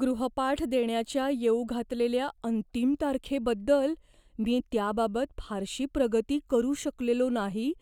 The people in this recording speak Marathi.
गृहपाठ देण्याच्या येऊ घातलेल्या अंतिम तारखेबद्दल, मी त्याबाबत फारशी प्रगती करू शकलेलो नाही